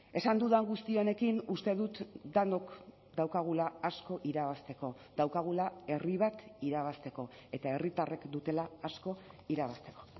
esan dudan guzti honekin uste dut denok daukagula asko irabazteko daukagula herri bat irabazteko eta herritarrek dutela asko irabazteko